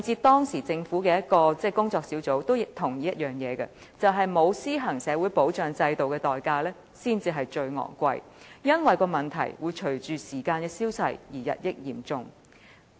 當時政府的一個工作小組也同意，"沒有施行社會保障制度的代價才是最昂貴的，因為問題會隨着時光的消逝而日益嚴重"。